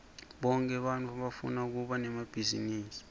bonke bantfu bafuna kuba nemabhizinisi